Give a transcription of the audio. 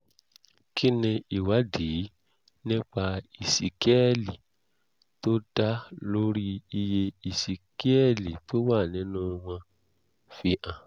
kí ni ìwádìí nípa ìsíkíẹ́lì tó dá lórí iye ìsíkíẹ́lì tó wà nínú wọn fi hàn?